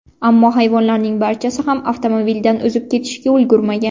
Ammo hayvonlarning barchasi ham avtomobildan o‘zib ketishga ulgurmagan.